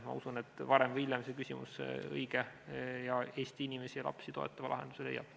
Ma usun, et varem või hiljem see küsimus õige ning Eesti inimesi ja lapsi toetava lahenduse leiab.